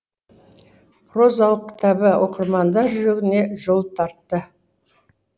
прозалық кітабы оқырмандар жүрегіне жол тартты